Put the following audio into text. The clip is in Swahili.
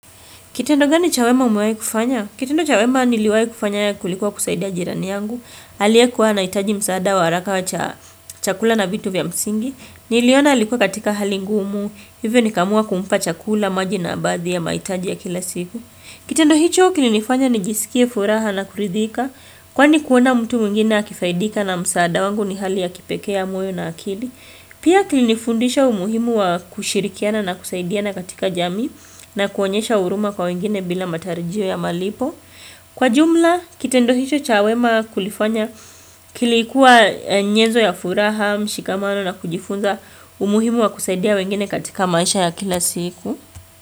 Kitendo gani cha wema umuwahi kufanya? Kitendo cha wema niliwahi kufanya kulikuwa kusaidia jirani yangu. Aliyekuwa anahitaji msaada wa haraka wa chakula na vitu vya msingi. Niliona alikuwa katika hali ngumu. Hivyo nikaamua kumpa chakula, maji na baadhi ya mahitaji ya kila siku. Kitendo hicho kilifanya nijisikie furaha na kurithika. Kwani kuona mtu mwingine akisaidika na msaada wangu ni hali ya kipekee ya moyo na akili. Pia kilinifundisha umuhimu wa kushirikiana na kusaidiana katika jamii. Na kuonyesha huruma kwa wengine bila matarajio ya malipo. Kwa jumla, kitendo hicho cha wema kulifanya kilikuwa nyezo ya furaha, mshikamano na kujifunza umuhimu wa kusaidia wengine katika maisha ya kila siku.